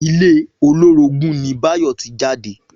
Ilé olórogún ni Báyò tí jáde